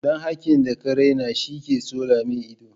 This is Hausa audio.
Dan hakin da ka raina shi ke tsole ma ido.